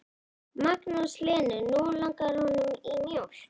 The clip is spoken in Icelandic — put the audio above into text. Magnús Hlynur: Nú langar honum í mjólk?